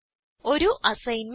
ഒരു അസൈൻമെന്റ്